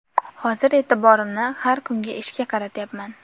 Hozir e’tiborimni har kungi ishga qaratyapman.